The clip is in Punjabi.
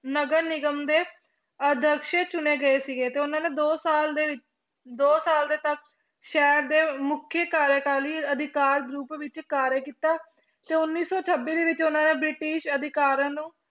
ਨਗਰ ਨਿਗਮ ਦੇ ਆਦਰਸ਼ ਚੁਣੇ ਗਏ ਸੀਗੇ ਤੇ ਉਹਨਾਂ ਨੇ ਦੋ ਸਾਲ ਦੇ, ਦੋ ਸਾਲ ਦੇ ਤੱਕ ਸ਼ਹਿਰ ਦੇ ਮੁੱਖੀ ਕਾਰਿਆਕਾਲੀ ਅਧਿਕਾਰ ਰੂਪ ਵਿੱਚ ਕਾਰਿਆ ਕੀਤਾ, ਤੇ ਉੱਨੀ ਸੌ ਛੱਬੀ ਦੇ ਵਿੱਚ ਉਹਨਾਂ ਨੇ ਬ੍ਰਿਟਿਸ਼ ਅਧਿਕਾਰਾਂ ਨੂੰ